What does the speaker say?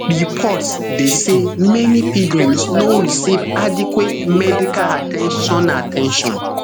reports dey say many pilgrims no receive adequate medical at ten tion at ten tion